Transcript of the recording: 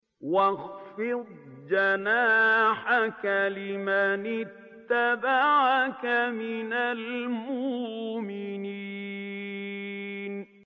وَاخْفِضْ جَنَاحَكَ لِمَنِ اتَّبَعَكَ مِنَ الْمُؤْمِنِينَ